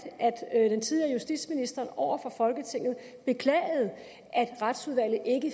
at den tidligere justitsminister over for folketinget beklagede at retsudvalget ikke